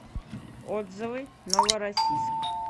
отзывы новороссийск